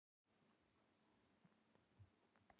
Ylfingur, er bolti á laugardaginn?